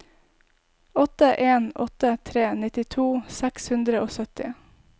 åtte en åtte tre nittito seks hundre og sytti